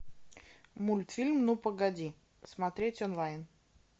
мультфильм ну погоди смотреть онлайн